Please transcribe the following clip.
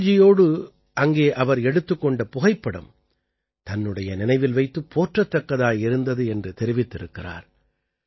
அடல்ஜியோடு அங்கே அவர் எடுத்துக் கொண்ட புகைப்படம் தன்னுடைய நினைவில் வைத்துப் போற்றத்தக்கதாய் இருந்தது என்று தெரிவித்திருக்கிறார்